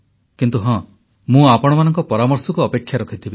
କିନ୍ତୁ ହଁ ମୁଁ ଆପଣମାନଙ୍କ ପରାମର୍ଶକୁ ଅପେକ୍ଷା କରିଥିବି